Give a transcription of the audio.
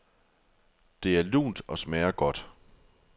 Det er lunt og smager godt.